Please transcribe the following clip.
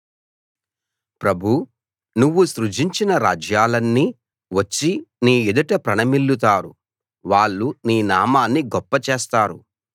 ప్రభూ నువ్వు సృజించిన రాజ్యాలన్నీ వచ్చి నీ ఎదుట ప్రణమిల్లుతారు వాళ్ళు నీ నామాన్ని గొప్ప చేస్తారు